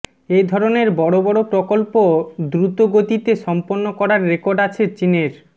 এ ধরনের বড় বড় প্রকল্প দ্রম্নতগতিতে সম্পন্ন করার রেকর্ড আছে চীনের